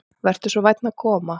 Vertu svo vænn að koma.